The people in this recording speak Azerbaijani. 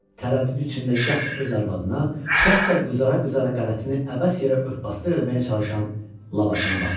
Tərəddüd içində gah öz arvadına, gah da qızara-qızara qələtini əbəs yerə ört-basdır eləməyə çalışan Labakana baxırdı.